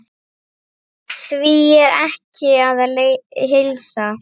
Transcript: Því er ekki að heilsa.